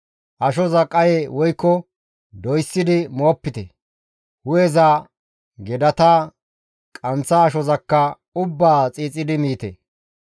Ashoza qaye woykko doyssidi moopite; hu7eza; gedata; qanththa ashozakka ubbaa xiixidi miite.